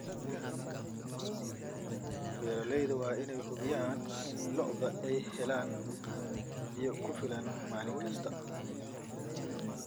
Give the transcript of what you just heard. Beeralayda waa in ay hubiyaan in lo'doodu ay helaan biyo ku filan maalin kasta.